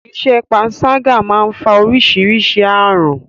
Iṣẹ́ panṣágà má ń fa orísirísi ààrùn.